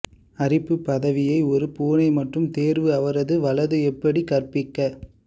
அரிப்பு பதவியை ஒரு பூனை மற்றும் தேர்வு அவரது வலது எப்படி கற்பிக்க